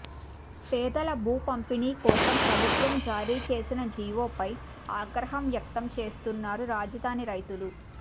పేదల భూ పంపిణీకోసం ప్రభుత్వం జారీ చేసిన జీవోపై ఆగ్రహం వ్యక్తం చేస్తున్నారు రాజధాని రైతులు